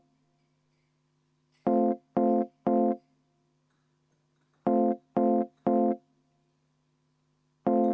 Palun kümme minutit vaheaega!